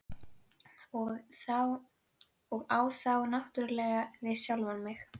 Og á þá náttúrlega við sjálfan mig.